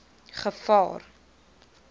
gevaar